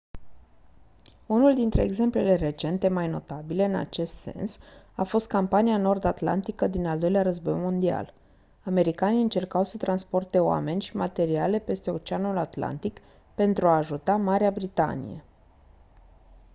unul dintre exemplele recente mai notabile în acest sens a fost campania nord atlantică din al doilea război mondial americanii încercau să transporte oameni și materiale peste oceanul atlantic pentru a ajuta marea britanie